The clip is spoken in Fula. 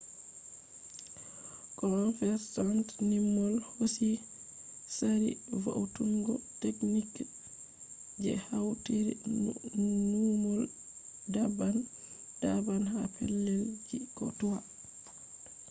convergent numol hosi tsari vo’utungo techniques je hautiri numol daban daban ha pellel ji ko toi